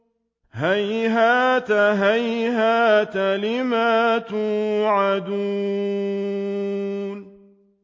۞ هَيْهَاتَ هَيْهَاتَ لِمَا تُوعَدُونَ